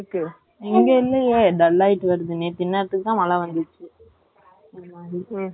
இன்னைக்கு வராது கவலை படாதீங்க ஏன்னா இங்க அப்படி இருந்தா தான் அங்கயும் அப்படி இருக்கும். குளிக்க வச்சிடுங்க யோசிக்கவே .